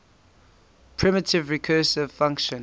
primitive recursive function